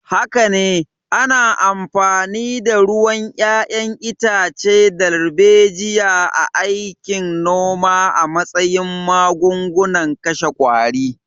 Haka ne, ana amfani da ruwan 'ya'yan itace darbejiya a aikin noma a matsayin magungunan kashe qwari.